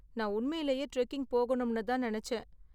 நான் உண்மையிலேயே டிரெக்கிங் போகணும்னு தான் நினைச்சேன்.